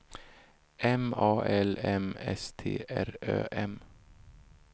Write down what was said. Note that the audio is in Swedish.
M A L M S T R Ö M